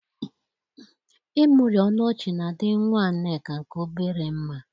Ịmụri ọnụ ọchị na-adị nnwa Nneka nke obere mma.